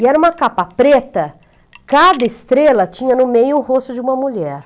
E era uma capa preta, cada estrela tinha no meio o rosto de uma mulher.